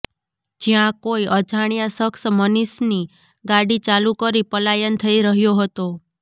જયાં કોઈ અજાણ્યા શખ્સ મનીષની ગાડી ચાલુ કરી પલાયન થઈ રહ્યો હતો